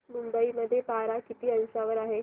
मुंबई मध्ये पारा किती अंशावर आहे